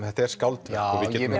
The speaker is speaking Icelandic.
þetta er skáldverk og við getum